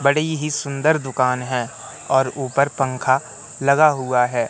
बड़ी ही सुंदर दुकान है और ऊपर पंखा लगा हुआ है।